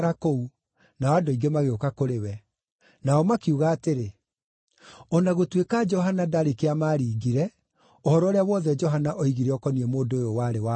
nao andũ aingĩ magĩũka kũrĩ we. Nao makiuga atĩrĩ, “O na gũtuĩka Johana ndarĩ kĩama aaringire, ũhoro ũrĩa wothe Johana oigire ũkoniĩ mũndũ ũyũ warĩ wa ma.”